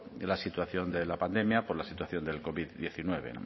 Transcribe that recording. la situación de la pandemia por la situación del covid hemeretzi y bueno